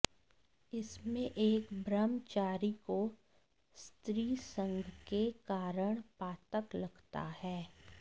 इसमें एक ब्रह्मचारीको स्त्रीसंगके कारण पातक लगता है